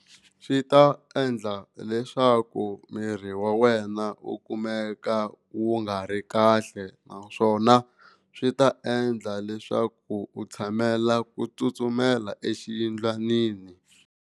Swi ta endla leswaku miri wa wena u kumeka wu nga ri kahle naswona swi ta endla leswaku u tshamela ku tsutsumela exiyindlwanini.